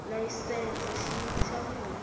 layisense xiyimo xa munhu loyi